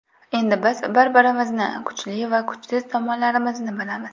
Endi biz bir-birimizni, kuchli va kuchsiz tomonlarimizni bilamiz.